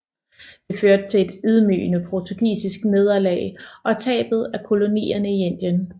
Det førte til et ydmygende portugisisk nederlag og tabet af kolonierne i Indien